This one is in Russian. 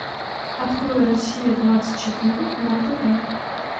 открой россия двадцать четыре на тв